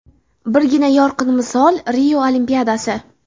Birgina yorqin misol Rio Olimpiadasi.